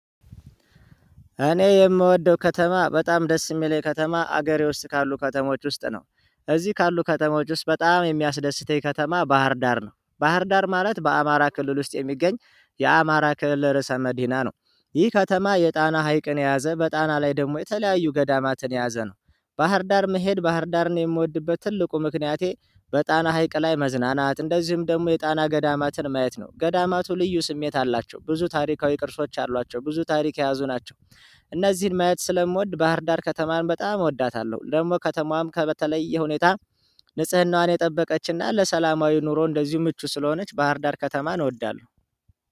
እኔ የምወደው ከተማ በጣም ደስ የሚለኝ ከተማ አገሬ ውስጥ ካሉ ከተሞች ውስጥ ነው። እዚህ ካሉ ከተማዎች ውስጥ በጣም የሚያስደስተኝ ከተማ ባህርዳር ነው። ባህርዳር ማለት በአማራ ክልል ውስጥ የሚገኝ የአማራ ክልል ርዕሰ መዲና ነው። ይህ ከተማ የጣና ሀይቅን የያዘ በጣና ላይ ደግሞ የተለያዩ ገዳማትን የያዘ ነው። ባህር ዳር መሄድ ባህር ዳርን የምወድበት ትልቁ ምክንያቴ። በጣና ሀይቅ ላይ መዝናናት እንደዚሁም ደግሞ የጣና ገዳማትን ማየት ነው። ገዳማቱ ልዩ ስሜት አላቸው ብዙ ታሪካዊ ቅርሶች አሏቸው ብዙ ታሪክ የያዙ ናቸው። እነዚህን ማየት ስለምወድ ባህርዳር ከተማን በጣም እወዳታለሁ። ደግሞ ከተማዋም ከበተለየ ሁኔታ ንጽህናዋን የጠበቀችና ለሰላማዊ ኑሮ እንደዚሁ ምቹ ስለሆነች ባህርዳር ከተማ እንወዳለን።